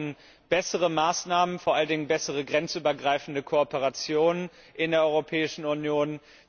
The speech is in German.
Wir brauchen bessere Maßnahmen, vor allen Dingen eine bessere grenzübergreifende Kooperation in der Europäischen Union.